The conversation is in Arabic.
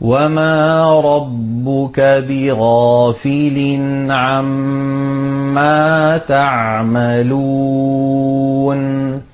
وَمَا رَبُّكَ بِغَافِلٍ عَمَّا تَعْمَلُونَ